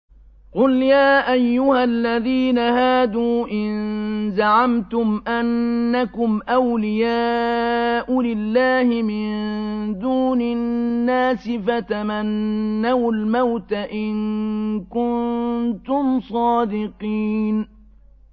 قُلْ يَا أَيُّهَا الَّذِينَ هَادُوا إِن زَعَمْتُمْ أَنَّكُمْ أَوْلِيَاءُ لِلَّهِ مِن دُونِ النَّاسِ فَتَمَنَّوُا الْمَوْتَ إِن كُنتُمْ صَادِقِينَ